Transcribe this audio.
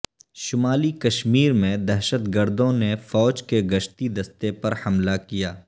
شمالی کشمیر میں دہشت گردوں نے فوج کے گشتی دستہ پر حملہ کیا